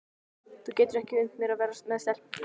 Þú getur ekki unnt mér að vera með stelpu.